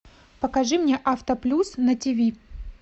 покажи мне авто плюс на тв